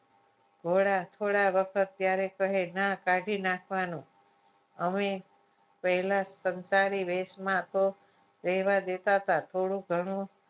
થોડા થોડા વખત ત્યારે કહે ના કાઢી નાખવાનું અમે પહેલાં સંસારી વેશમાં તો રહેવા દેતા હતા થોડું ઘણું